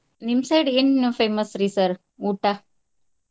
ನಿಮ್ಮ side ಏನ್ famous ರಿ sir ಊಟಾ?